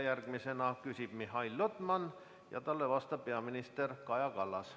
Järgmisena küsib Mihhail Lotman ja talle vastab peaminister Kaja Kallas.